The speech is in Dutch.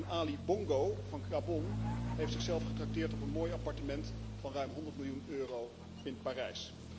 En Ali Bongo van Gabon heeft zichzelf getrakteerd op een mooi appartement van ruim 100 miljoen euro in Parijs.